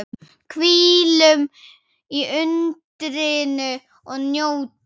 Hvílum í undrinu og njótum.